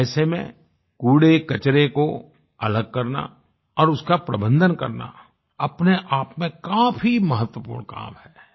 ऐसे में कूड़ेकचरे को अलग करना और उसका प्रबंधन करना अपने आप में काफी महत्वपूर्ण काम है